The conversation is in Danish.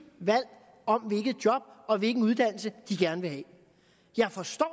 valg om hvilket job og hvilken uddannelse de gerne vil have jeg forstår